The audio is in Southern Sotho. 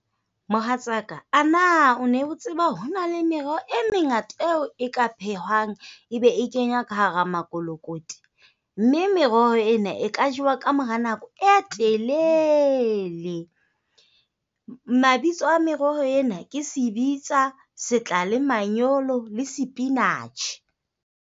Mohatsaka, a na o ne o tseba hore ho na le meroho e mengata eo e ka phehwang e be e kenywa ka hara mokolokoti. Mme meroho ena e ka jewa ka mora nako e telele. Mabitso a meroho ena ke sebitsa, setlalemanyolo le spinach.